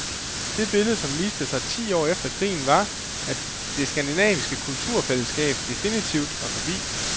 Det billede som viste sig ti år efter krigen var, at det skandinaviske kulturfællesskab definitivt var forbi.